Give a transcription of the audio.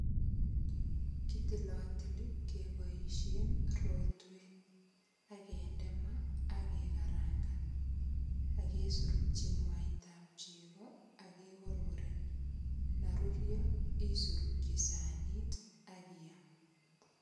Kitilatili keboisien rotwet ak kende maak kekarangan ak kesorokyi mwaitab chego ak kegorgoren. Ndarurio isurikyi sanit ak iyam.